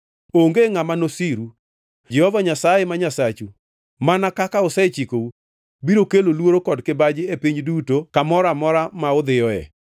Onge ngʼama nosiru. Jehova Nyasaye ma Nyasachu mana kaka osechikou, biro kelo luoro kod kibaji e piny duto kamoro amora ma udhiyoe.